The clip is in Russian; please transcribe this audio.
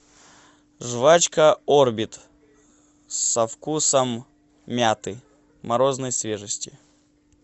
жвачка орбит со вкусом мяты морозной свежести